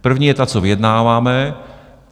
První je ta, co vyjednáváme.